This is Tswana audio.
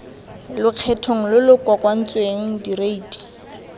lokgethong lo lo kokoantsweng direiti